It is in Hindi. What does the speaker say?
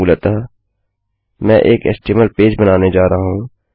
मूलतः मैं एक एचटीएमएल पेज बनाने जा रहा हूँ